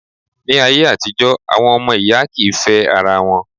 Ní ayé àtijọ́, àwọn ọmọ ìyá kì í fẹ́ ara wọn.